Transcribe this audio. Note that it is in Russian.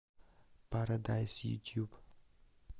парадайз ютьюб